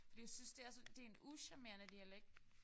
Fordi jeg synes det er sådan det en ucharmerende dialekt